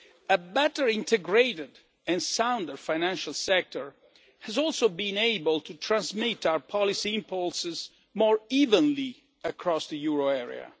A better integrated and sounder financial sector has also been able to transmit our policy impulses more evenly across the euro